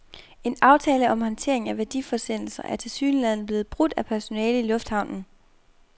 En aftale om håndtering af værdiforsendelser er tilsyneladende blevet brudt af personale i lufthavnen.